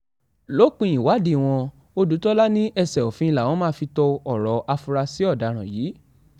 lópin ìwádìí wọn ọ̀dùtòlà ní ẹsẹ òfin làwọn máa fi to ọ̀rọ̀ àfúrásì ọ̀daràn yìí